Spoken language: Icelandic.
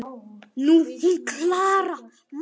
Nú, hún Klara, maður!